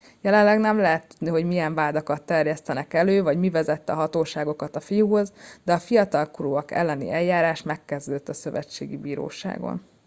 jelenleg nem lehet tudni hogy milyen vádakat terjesztenek elő vagy mi vezette a hatóságokat a fiúhoz de a fiatalkorúak elleni eljárás megkezdődött a szövetségi bíróságon